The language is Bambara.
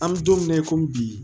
An bɛ don min na i komi bi